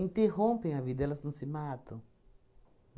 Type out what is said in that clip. interrompem a vida, elas não se matam?